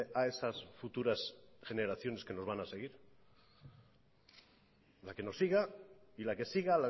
a esas futuras generaciones que nos van a seguir la que nos siga y la que siga